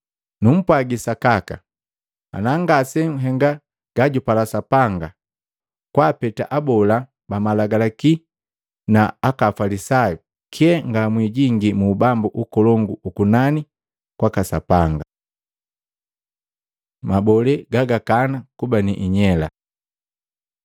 Numpwagi sakaka, ana ngasenhenga gajupala Sapanga kwaapeta abola ba Malagalaki na aka Afalisayu, kyee ngamwijingii mu Ubambu ukolongu ukunani kwaka Sapanga.” Mabolee gagakana kuba ni inyela